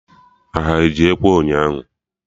Ha eji Ekwe ụnyaahụ?